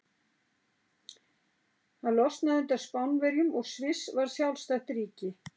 Holland losnaði undan Spánverjum og Sviss varð sjálfstætt ríki.